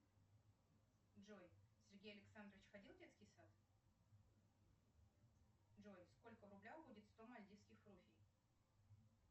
джой сергей александрович ходил в детский сад джой сколько в рублях будет сто мальдивских руфий